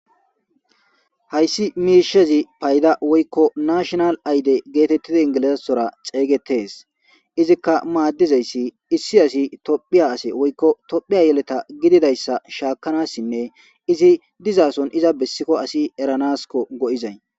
Hayssi miishezi payda woykko nashonal ayde geetettidi ingilizaasora xeygetees izikka maaddizayssi issi asi tophiya ase woykko tophiya yeleta gididayssa shaakanassinne izi dizaason iza bessikko asi eranaskko go'zzay.